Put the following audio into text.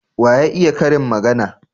Wa ya iya karin magana?